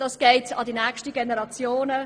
Dies geht zulasten der kommenden Generationen.